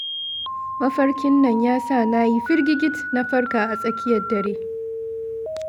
Mafarkin nan ya sa na yi firgigit na farka a tsakiyar dare